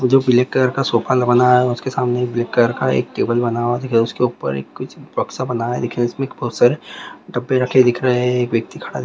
जो black colour का sofa बनाया उसके सामने ब्लैक कलर का टेबल बना हुआ है उसके ऊपर कुछ एक बक्सा बना हुआ है जिसमें बहुत सारे डब्बे रखे दिख रहे हैं एक व्यक्ति खड़ा --